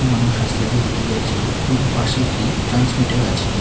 মানুষ রাস্তা দিয়ে হেঁটে যাচ্ছেন এবং পাশে একটি ট্রান্সমিটার আছে।